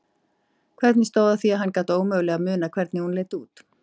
Hvernig stóð á því að hann gat ómögulega munað hvernig hún leit út?